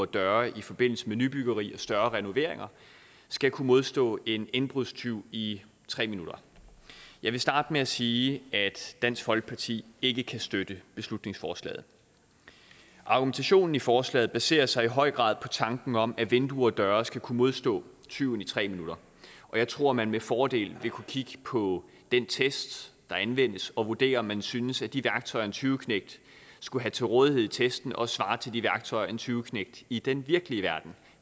og døre i forbindelse med nybyggeri og større renoveringer skal kunne modstå en indbrudstyv i tre minutter jeg vil starte med at sige at dansk folkeparti ikke kan støtte beslutningsforslaget argumentationen i forslaget baserer sig i høj grad på tanken om at vinduer og døre skal kunne modstå tyven i tre minutter og jeg tror man med fordel vil kunne kigge på den test der anvendes og vurdere om man synes at de værktøjer en tyveknægt skulle have til rådighed i testen også svarer til de værktøjer en tyveknægt i den virkelige verden